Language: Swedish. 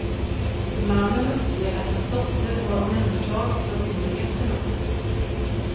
Mannen uppger att hans dotter har omhändertagits av myndigheterna.